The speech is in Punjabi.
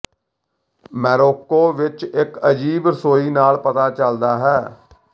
ਮੋਰੋਕੋ ਵਿੱਚ ਇੱਕ ਅਜੀਬ ਰਸੋਈ ਨਾਲ ਪਤਾ ਚੱਲਦਾ ਹੈ